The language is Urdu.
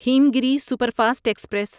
ہمگیری سپرفاسٹ ایکسپریس